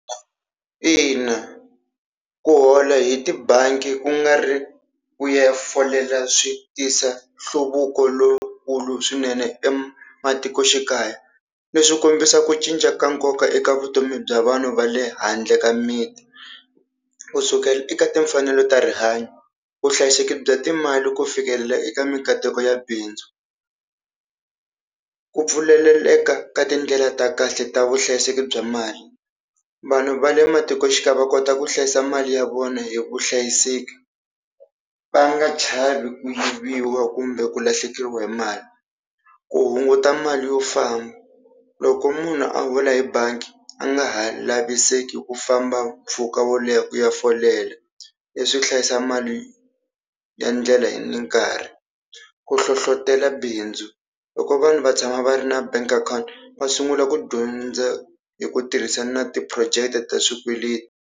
Ina ku hola hi tibangi kungari ku ya folela swi tisa nhluvuko lowukulu swinene ematikoxikaya. Leswi swi kombisa ku cinca ka nkoka eka vutomi bya vanhu va le handle ka miti, kusukela eka timfanelo ta rihanyo, vuhlayiseki bya timali ku fikelela eka mikateko ya bindzu. Ku pfuleleleka ka tindlela ta kahle ta vuhlayiseki bya mali. Vanhu va le matikoxikaya va kota ku hlayisa mali ya vona hi vuhlayiseki va nga chavi ku yiviwa kumbe ku lahlekeriwa hi mali. Ku hunguta mali yo famba loko munhu a hola hi bangi a nga ha laviseki ku famba mpfhuka wo leha ku ya folela leswi hlayisa mali ya ndlela ni nkarhi. Ku hlohlotela bindzu, loko vanhu va tshama va ri na bank account va sungula ku dyondza hi ku tirhisana na ti-project ta swikweleti.